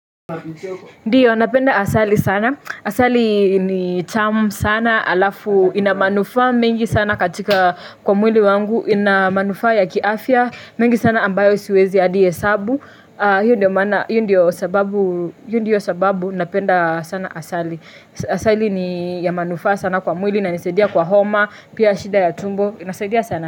Ndio, napenda asali sana. Asali ni tamu sana alafu. Inamanufaa mingi sana katika kwa mwili wangu. Ina manufaa ya kiafya. Mengi sana ambayo siwezi ya adi hesabu. Hio ndio sababu napenda sana asali. Asali ni ya manufaa sana kwa mwili na nisadia kwa homa, pia shida ya tumbo. Inasaidia sana.